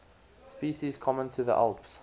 species common to the alps